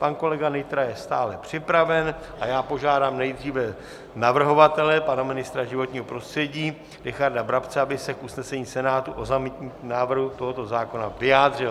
Pan kolega Nytra je stále připraven a já požádám nejdříve navrhovatele, pana ministra životního prostředí Richarda Brabce, aby se k usnesení Senátu o zamítnutí návrhu tohoto zákona vyjádřil.